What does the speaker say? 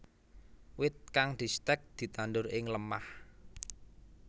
Wit kang distèk ditandur ing lemah